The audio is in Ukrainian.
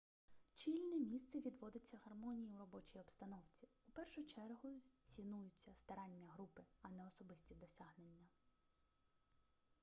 чільне місце відводиться гармонії у робочій обстановці у першу чергу цінуються старання групи а не особисті досягнення